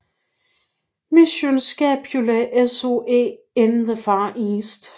Mission Scapula SOE in the Far East